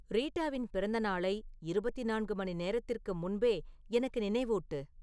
ரீட்டாவின் பிறந்தநாளை இருபத்தி நான்கு மணி நேரத்திற்கு முன்பே எனக்கு நினைவூட்டு